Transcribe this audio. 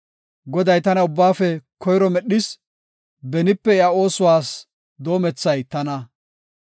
“Goday tana ubbaafe koyro medhis; benipeka iya oosuwas doomethay tana.